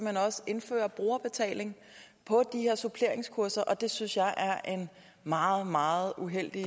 hen også indfører brugerbetaling på de her suppleringskurser og det synes jeg er en meget meget uheldig